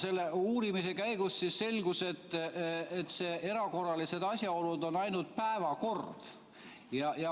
Aga uurimise käigus selgus, et erakorralised asjaolud on ainult päevakord.